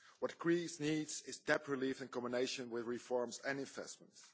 What Greece needs is debt relief in combination with reforms and investments.